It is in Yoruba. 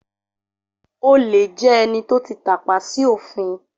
Olè jẹ́ ẹni tó ti tàpa sí òfin